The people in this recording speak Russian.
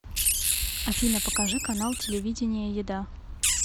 афина покажи канал телевидения еда